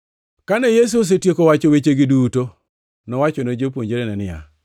Kane Yesu osetieko wacho wechegi duto, nowachone jopuonjrene niya,